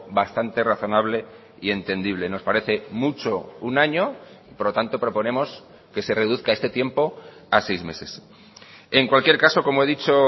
bastante razonable y entendible nos parece mucho un año por lo tanto proponemos que se reduzca este tiempo a seis meses en cualquier caso como he dicho